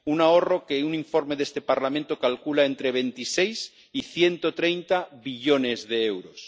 Un ahorro que un informe de este Parlamento calcula entre 26 y 130 billones de euros.